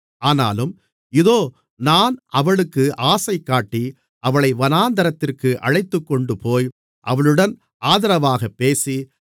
ஆனாலும் இதோ நான் அவளுக்கு ஆசைகாட்டி அவளை வனாந்திரத்திற்கு அழைத்துக்கொண்டுபோய் அவளுடன் ஆதரவாகப் பேசி